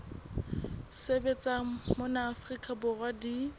sebetsang mona afrika borwa di